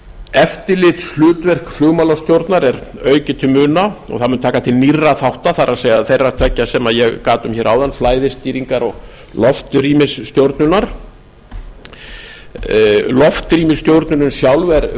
eftirlitshlutverk flugmálastjórnar er aukið til muna og það mun taka til nýrra þátta það er þeirra tveggja sem ég gat um hér áðan flæðisstýringar og loftrýmisstjórnunar loftrýmisstjórnunin sjálf er